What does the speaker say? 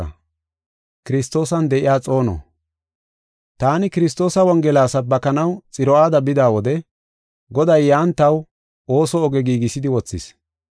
Taani Kiristoosa Wongela sabbakanaw Xiro7aada bida wode, Goday yan taw ooso oge giigisidi wothis.